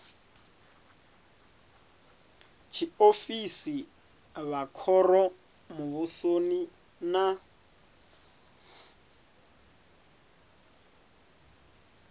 tshiofisi vha khoro muvhusoni na